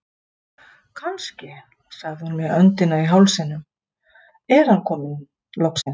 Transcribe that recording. Kannske sagði hún með öndina í hálsinum, er hann loksins kominn